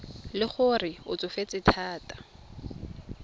le gore o tsofetse thata